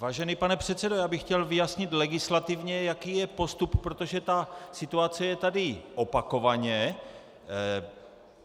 Vážený pane předsedo, já bych chtěl vyjasnit legislativně, jaký je postup, protože ta situace je tady opakovaně.